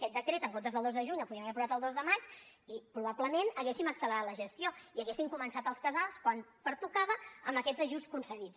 aquest decret en comptes del dos de juny el podíem haver posat el dos de maig i probablement hauríem accelerat la gestió i hauríem començat els casals quan pertocava amb aquests ajuts concedits